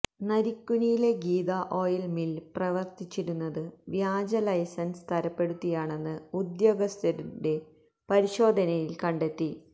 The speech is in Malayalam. നരിക്കുനിയിലെ ഗീതാ ഓയിൽ മില്ല് പ്രവർത്തിച്ചിരുന്നത് വ്യാജ ലൈസൻസ് തരപ്പെടുത്തിയാണെന്ന് ഉദ്യോഗസ്ഥരുടെ പരിശോധനയിൽ കണ്ടെത്തി